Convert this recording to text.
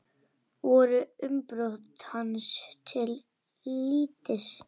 Voru umbrot hans til lítils.